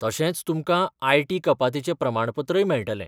तशेंच तुमकां आय.टी कपातीचें प्रमाणपत्रय मेळटलें.